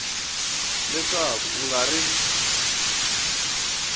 leswaku a ku nga ri